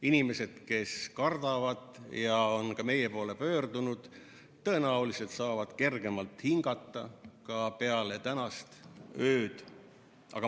Inimesed, kes kardavad ja on ka meie poole pöördunud, tõenäoliselt saavad kergemalt hingata ka peale tänast ööd.